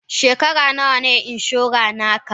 Shekara nawa ne inshora na ka?